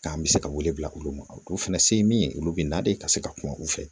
K'an bɛ se ka wele bila olu ma olu fana se ye min ye olu bɛ na de ka se ka kuma u fɛ